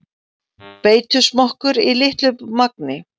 Beitusmokkur í litlu magni